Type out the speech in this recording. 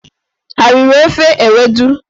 Ha riri ofe ewedu?